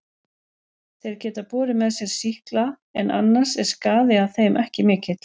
Þeir geta borið með sér sýkla en annars er skaði að þeim ekki mikill.